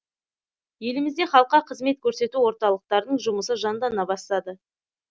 елімізде халыққа қызмет көрсету орталықтарының жұмысы жандана бастады